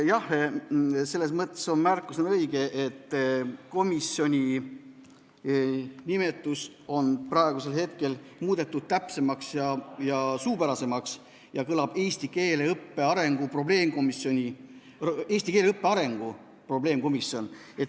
Jah, selles mõttes õige märkus, et komisjoni nimetus on praeguseks muudetud täpsemaks ja suupärasemaks: eesti keele õppe arengu probleemkomisjon.